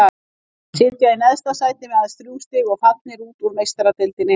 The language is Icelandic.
Sitja í neðsta sæti með aðeins þrjú stig og fallnir út úr Meistaradeildinni.